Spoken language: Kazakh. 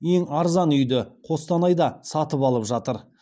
ең арзан үйді қостанайда сатып алып жатыр